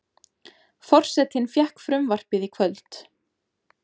Forsetinn fékk frumvarpið í kvöld